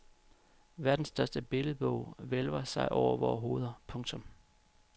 Verdens største billedbog hvælver sig over vore hoveder. punktum